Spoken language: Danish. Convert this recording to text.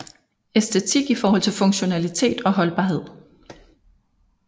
Æstetik i forhold til funktionalitet og holdbarhed